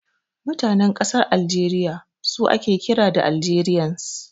Mutanen ƙasar Aljeriya su ake kira da Algerians.